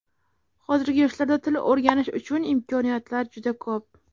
Hozirgi yoshlarda til o‘rganish uchun imkoniyatlar juda ko‘p.